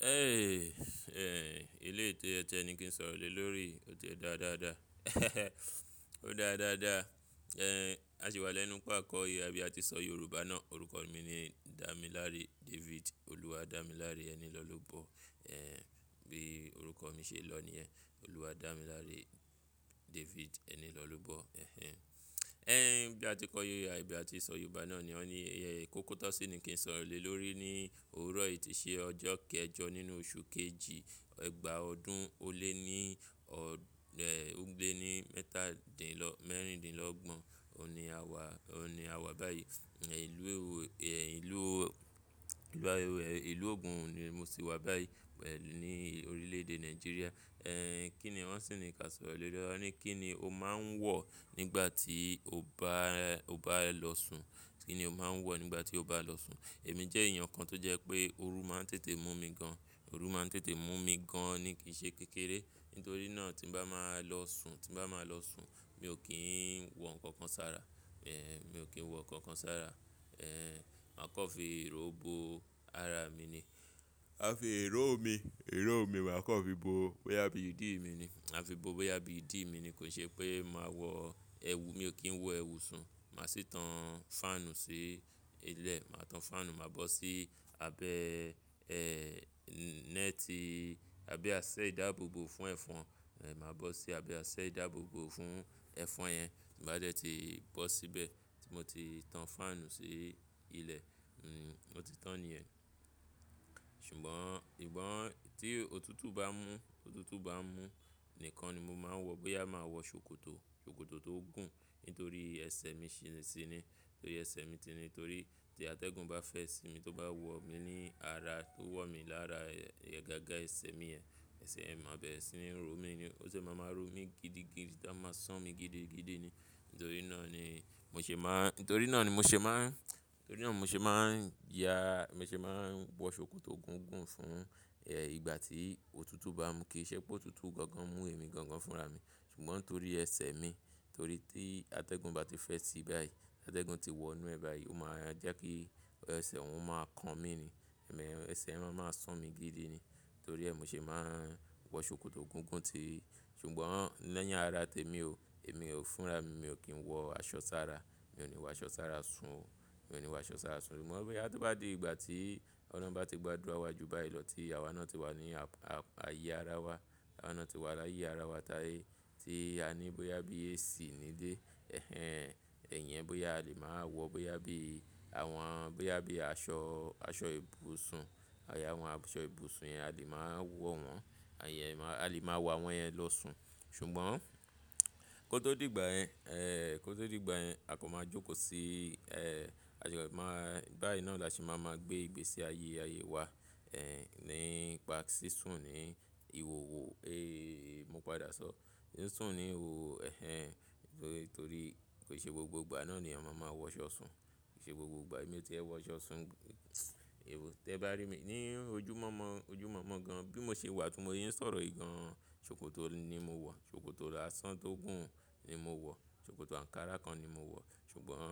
Ẹ, ilé tó yẹ ti ẹ ni kí n sọ̀rọ̀ lé lórí. Ó ti dáa dáadáa. Ó dáa dáadáa. Ehn, a ṣì wá lẹ́nu pa kọ ìwà bí a ti ṣọ Yorùbá náà. Orúkọ mi ni Damilare David. Olúwadamilare Enilọ́lọ́bọ̀. Ehn, bí orúkọ mi ṣe lọ ni ẹ́. Olúwadamilare David Enilọ́lọ́bọ̀. Ehn ehn. Ehn, bí a ti kọ yiyá ibi a ti ṣọ Yorùbá náà ni. Ó ní, kokotọ̀sí ni kí n sọ̀rọ̀ lé lórí ní òwúrọ̀ yìí tí ṣe ọjọ́ kẹjọ nínú oṣù kejì, ẹgba ọdún ó lé ní ọdún, ehn, ó gbé ní mẹ́tàdínlọ́, mẹ́rìndínlọ́gbọ̀n. Ó ní àwa, ó ní àwa báyìí. Ẹ̀, ìlú ewu, ehn, ìlú, ìlú ewu, ehn, ìlú Ogun ni mo ti wá báyìí, ehn, ní orílẹ̀ èdè Nigeria. Ehn, kí ni wọn sì ní kí a sọ̀rọ̀ lé lórí? Wọ́n ní kí ni o máa ń wọ̀ nígbà tí o bá, o bá lọ sùn? Kí ni o máa ń wọ̀ nígbà tí o bá lọ sùn? Èmi jẹ́ èèyàn kan tó jẹ́ pé oru máa ń tètè mú mi gan. Oru máa ń tètè mú mi gan ni kìí ṣe kékeré. Nítorí náà tí n bá máa lọ sùn, tí n bá máa lọ sùn, mi ò kí ń wọ nǹkan kan sára. Ehn, mi ò kí ń wọ nǹkan kan sára. Ehn, máa kọ́ fi ìró bo ara mi ni. A fi ìró mi, ìró mi wa kọ́ fi bo bóyá bí ìdí mi ni. A fi bo bóyá bí ìdí mi ni. Kò ṣe pé màá wọ ẹwu, mi ò kí ń wọ ẹwu sùn. Màá sì tan fáànù sí ilẹ̀. Màá tan fáànù, màá bọ́ sí abẹ, ehn, netì àbí aṣẹ ìdáàbòbò fún ẹ̀fọn. Ehn, màá bọ́ sí abẹ́ aṣẹ ìdáàbòbò fún ẹ̀fọn yẹn. Bá dẹ́ tí bọ́ síbẹ̀ tí mo ti tan fáànù sí ilẹ̀, hmm, o ti tán ni ẹ. Ṣùgbọ́n ṣùgbọ́n tí òtútù bá mú, òtútù bá mú nìkan ni mo máa ń wọ, bóyá màá wọ ṣòkòtò, ṣòkòtò tó gùn. Nítorí ẹsẹ̀ mi ṣì ṣì ni. Torí ẹsẹ̀ mi ti ni, torí tí atẹ́gùn bá fẹ́ sí mi, tó bá wọ̀ mí ní ara, tó wọ̀ mí lára ẹ̀, gágá ẹsẹ̀ mi yẹn, ẹsẹ̀ mi á bẹ̀ ẹ́ sí ni ró mi ni. Ó sì máa máa ró mi gidi gidi, tá a máa ṣán mi gidi gidi ni. Nítorí náà ni mo ṣe máa ń, nítorí náà ni mo ṣe máa ń, nítorí náà mo ṣe máa ń ya, mo ṣe máa ń wọ ṣòkòtò gùn gùn fún, ehn, ìgbà tí òtútù bá mú kí i ṣe pé òtútù gangan mú ẹ̀mí gangan fúnra mi. Ṣùgbọ́n torí ẹsẹ̀ mi, torí tí atẹ́gùn bá ti fẹ́ sí báyìí, atẹ́gùn ti wọ inú ẹ báyìí, ó máa jẹ́ kí ẹsẹ̀ òun máa kan mi ni. Ẹ̀mẹ́, ẹsẹ̀ yẹn máa máa ṣán mi gidi ni. Torí ẹ́ mo ṣe máa ń wọ ṣòkòtò gùn gùn ti. Ṣùgbọ́n lẹ́yìn ara tèmi ò, èmi ò fúnra mi, mi ò kí ń wọ aṣọ sára. Mi ò ní wọ aṣọ sára sùn. Mi ò ní wọ aṣọ sára sùn. Ṣùgbọ́n bóyá tó bá di ìgbà tí ọlọ́run bá ti gbà dúra wa ju báyìí lọ tí àwa náà ti wà ní a-a-ayé ara wa, àwa náà ti wà láyé ara wa táyé tí a ní bóyá bí AC nílé. Ehn ehn, ẹ̀yin bóyá a lè máa wọ, bóyá bí àwọn, bóyá bí aṣọ, aṣọ ibùsùn, àyà àwọn aṣọ ibùsùn yẹn a lè máa wọ̀ wọ́n. Àyè, a lè máa wọ àwọn yẹn lọ sùn. Ṣùgbọ́n kó tó di ìgbà yẹn, ehn, kó tó di ìgbà yẹn, a kò máa jókòó sí, ehn, a sì máa, báyìí náà la sì máa máa gbé ìgbésẹ̀ ayé, ayé wa, ehn, nípa sísùn ní ìhòhò. Ehh, mo padà sọ. Sísùn ní ìhòhò, ehn ehn, torí kò ṣe gbogbo ìgbà náà ni a máa máa wọ aṣọ sùn. Kò ṣe gbogbo ìgbà mi tó yẹ wọ aṣọ sùn. Ẹhún, tí ẹ bá rí mi ní ojúmọ́mọ́, ojúmọ́mọ́ gan, bí mo ṣe wà tí mo yí ń sọ̀rọ̀ yìí gan, ṣòkòtò ni mo wọ̀. Ṣòkòtò lásán tó gùn ni mo wọ̀. Ṣòkòtò ankara kan ni mo wọ̀. Ṣùgbọ́n